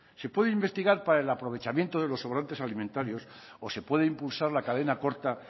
se puede investigar para el aprovechamiento de los sobrantes alimentarios o se puede impulsar la cadena corta